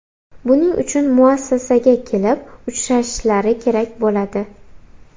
Buning uchun muassasaga kelib uchrashishlari kerak bo‘ladi.